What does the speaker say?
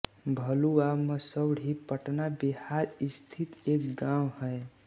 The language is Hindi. भलुआ मसौढी पटना बिहार स्थित एक गाँव है